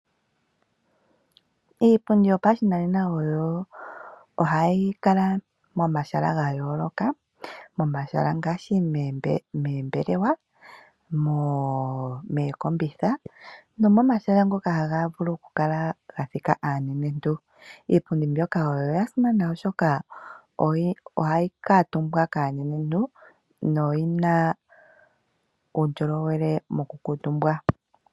Iipundi yopashinanena oyo ohayi kala momahala ga yooloka momahala ngaashi moombelewa, mookombitha nomomahala ngoka haga vulu okukala ga thika aanenentu. Iipundi mbyoka oya simana oshoka ohayi kuutumbwa kaanenentu noyina uundjolowele mokukuutumbwa.